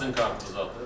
O da sizin kartınızdadır?